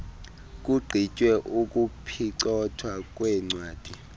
kugqitywe ukuphicothwa kweencwadi